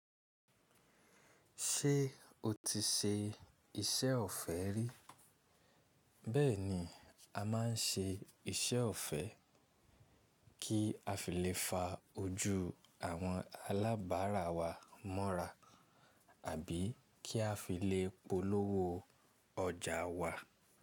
Ṣé o ti ṣe iṣẹ́ ọ̀fẹ́ rí? Bẹ́ẹ̀ni, a máa ń ṣe iṣẹ́ ọ̀fẹ́ kí a fi lè fa ojú àwọn alábàárà wa mọ́ra àbí kí a fi lè polówó ọjà wa.